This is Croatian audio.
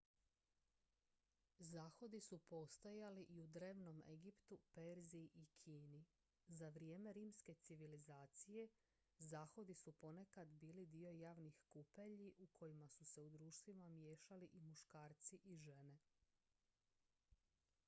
zahodi su postojali i u drevnom egiptu perziji i kini za vrijeme rimske civilizacije zahodi su ponekad bili dio javnih kupelji u kojima su se u društvima miješali i muškarci i žene